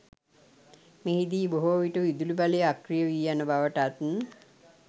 මෙහිදී බොහෝවිට විදුලිබලය අක්‍රිය වී යන බවටත්